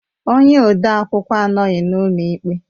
Onye ode akwụkwọ anọghị n'ụlọ ikpe